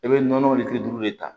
I bɛ nɔnɔ ni kile duuru de ta